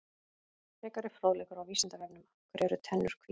Frekari fróðleikur á Vísindavefnum: Af hverju eru tennur hvítar?